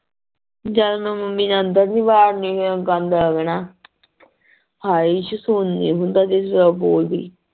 ਜਦ ਮੈਂ ਮੰਮੀ ਨੇ ਅੰਦਰ ਨੀ ਵਾੜਨੀ ਗੰਦ ਹੋਵੇ ਨਾ